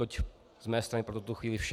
Toť z mé strany pro tuto chvíli vše.